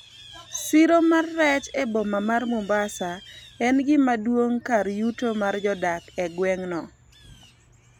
siro mar rech e boma mar mombasa en gimaduong' kar yuto mar jodak e gweng' no